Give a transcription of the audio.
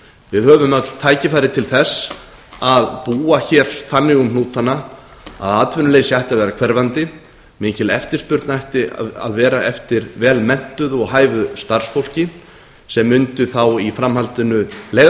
við höfum öll tækifæri til að búa þannig um hnútana að atvinnuleysi ætti að vera hverfandi mikil eftirspurn ætti að vera eftir vel menntuðu og hæfu starfsfólki sem mundi þá í framhaldinu leiða